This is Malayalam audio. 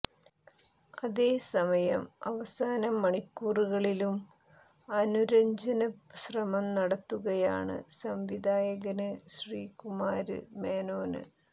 അതേ സമയം അവസാന മണിക്കൂറുകളിലും അനുരജ്ഞന ശ്രമം നടത്തുകയാണ് സംവിധായകന് ശ്രീകുമാര് മേനോന്